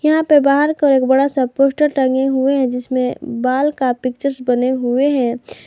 यहां पे बाहर को एक बड़ा सा पोस्टर टंगे हुए हैं जिसमें बाल का पिक्चर्स बने हुए हैं।